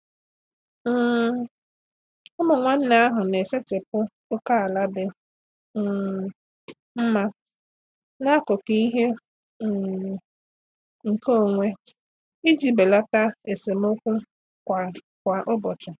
um Ụmụ nwanne ahụ na-esetịpụ ókèala dị um mma n'akụkụ ihe um nkeonwe iji belata esemokwu kwa kwa ụbọchị.